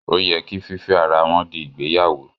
Ó yẹ kí fífẹ́ ara wọn di ìgbéyàwó